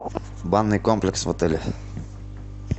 банный комплекс в отеле